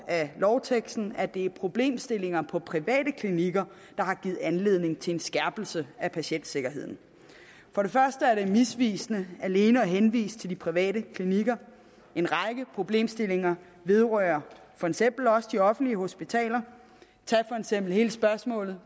af lovteksten at det er problemstillinger på private klinikker der har givet anledning til en skærpelse af patientsikkerheden for det første er det misvisende alene at henvise til de private klinikker en række problemstillinger vedrører for eksempel også de offentlige hospitaler tag for eksempel hele spørgsmålet